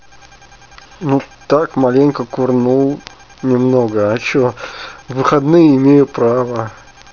ну так маленько курнул немного а что выходные имею право